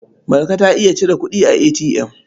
Marka ta iya cire kuɗi a ATM.